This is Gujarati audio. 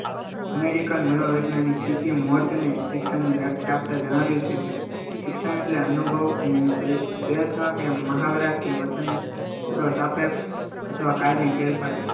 અમેરિકન મનોવૈજ્ઞાનિક સ્થિતિમાં શિક્ષણ ની વ્યાખ્યા આપતા જણાવ્યું છે કે શિક્ષણ એટલે અનુભવ અને પ્રયત્ન કે મહાવરાથી વર્તન સાપેક્ષ અથવા કાયમી ફેરફાર